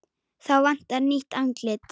Þá vantar nýtt andlit.